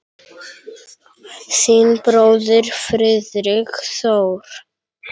Þinn bróðir Friðrik Þór.